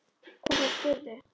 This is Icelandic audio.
Hvernig spyrðu.